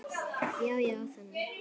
Já, já, þannig.